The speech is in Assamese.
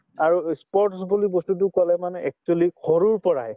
আৰু ই sports বুলি বস্তুতো কলে মানে actually সৰুৰ পৰাই